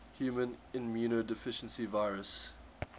human immunodeficiency virus